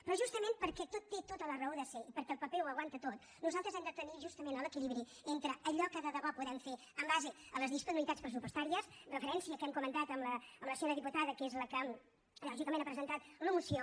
però justament perquè tot té tota la raó de ser i perquè el paper ho aguanta tot nosaltres hem de tenir justament l’equilibri entre allò que de debò podem fer en base a les disponibilitats pressupostàries referència que hem comentat amb la senyora diputada que és la que lògicament ha presentat la moció